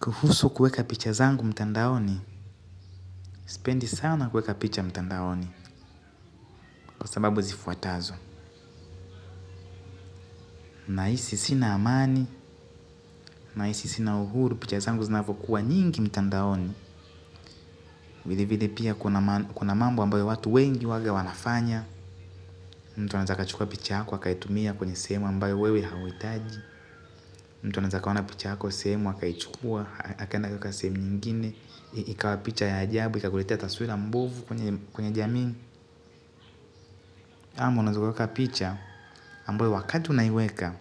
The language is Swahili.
Kuhusu kueka picha zangu mtandaoni, sipendi sana kuweka picha mtandaoni, kwa sababu zifuatazo. Nahisi sina amani, nahisi sina uhuru, picha zangu zinavokuwa nyingi mtandaoni. Vile vile pia kuna mambo ambayo watu wengi huwaga wanafanya. Mtu anaeza kachukua picha yako, akaitumia kwenye sehemu ambayo wewe hauhitaji. Mtu anaeza kaona picha yako, sehemu, akaichukua, akaenda akaeka sehemu nyingine. Ikawa picha ya ajabu, ikakuleteta taswira mbovu kwenye jamii. Ama unaza kuweka picha, ambayo wakati unaiweka,